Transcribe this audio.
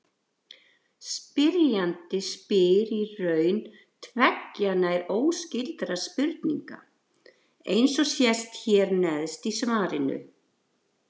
Spyrjandi spyr í raun tveggja nær óskyldra spurninga, eins og sést hér neðst í svarinu.